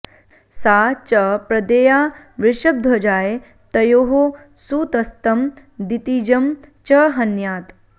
सा च प्रदेया वृषभध्वजाय तयोः सुतस्तं दितिजं च हन्यात्